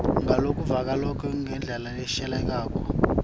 ngalokuvakalako ngendlela leshelelako